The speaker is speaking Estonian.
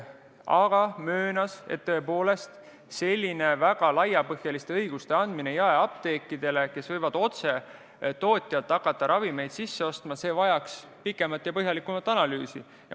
Aga ta möönis, et tõepoolest, selline väga laiapõhjaliste õiguste andmine jaeapteekidele, kes võivad hakata otse tootjalt ravimeid sisse ostma, vajaks pikemat ja põhjalikumat analüüsi.